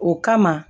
O kama